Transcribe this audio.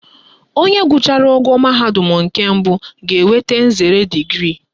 Onye gụchara ogo mahadum nke mbụ ga-enweta nzere digrii